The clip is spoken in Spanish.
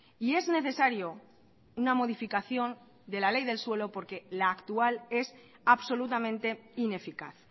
y es necesario una modificación de la ley del suelo porque la actual es absolutamente ineficaz